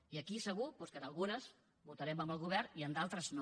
i aquí segur doncs que en algunes votarem amb el govern i en d’altres no